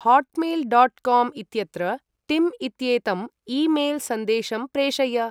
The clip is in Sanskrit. हॉट्मेल्.कॉम् इत्यत्र टिम् इत्येतम् ई मेल्.सन्देशं प्रेषय